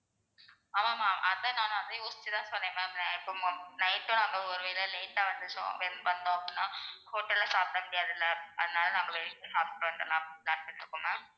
ஆமா ஆமா. அதான் நானும் அதை யோசிச்சு தான் சொன்னேன். நான் இப்போ night டும் நாங்க ஒருவேளை late டா வந்துட்டோம் வந்தோம் அப்படின்னா hotel ல்ல சாப்பிட முடியாது இல்ல? அதனால நாங்கள் வெளியிலேயே சாப்பிட்டு வந்துடலாம் அப்படின்னு plan பண்ணி இருக்கோம் ma'am